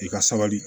I ka sabali